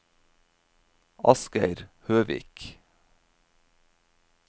Asgeir Høvik